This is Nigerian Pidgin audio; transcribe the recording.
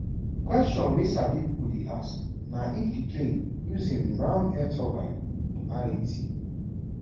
kwesions wey sabi pipo dey ask na if di plane use im ram air turbine (rat).